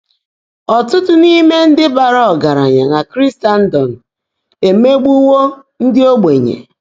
Ọ́tụ́tụ́ n’íimé ndị́ báárá ọ́gàráńyá nà Kríséndọ́m éméegbuwó ndị́ ógbènyé.